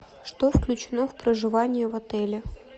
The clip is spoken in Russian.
что включено в проживание в отеле